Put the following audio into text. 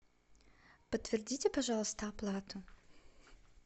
подтвердите пожалуйста оплату